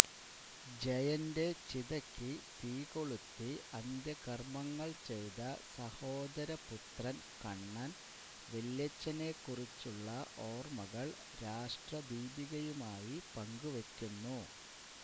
ജയന്റെ ചിതയ്ക്കു തീകൊളുത്തി അന്ത്യകർമങ്ങൾ ചെയ്ത സഹോദരപുത്രൻ കണ്ണൻ വല്യച്ഛനെക്കുറിച്ചുള്ള ഓർമകൾ രാഷ്ട്രദീപികയുമായി പങ്കു വയ്ക്കുന്നു